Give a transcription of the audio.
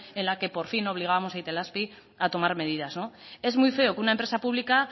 en la que por fin obligábamos a itelazpi a tomar medidas es muy feo que una empresa pública